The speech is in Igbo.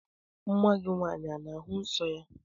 Nwa gị nwaanyị ana-ahụ nsọ ya?